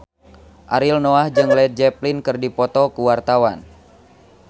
Ariel Noah jeung Led Zeppelin keur dipoto ku wartawan